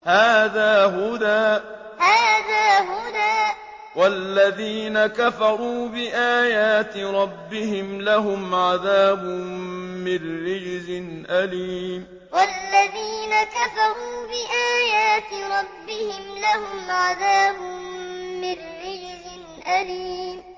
هَٰذَا هُدًى ۖ وَالَّذِينَ كَفَرُوا بِآيَاتِ رَبِّهِمْ لَهُمْ عَذَابٌ مِّن رِّجْزٍ أَلِيمٌ هَٰذَا هُدًى ۖ وَالَّذِينَ كَفَرُوا بِآيَاتِ رَبِّهِمْ لَهُمْ عَذَابٌ مِّن رِّجْزٍ أَلِيمٌ